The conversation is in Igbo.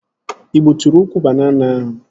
Ị gbuturu ukwu banana ahụ?